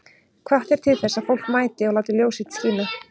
Hvatt er til þess að fólk mæti og láti ljós sitt skína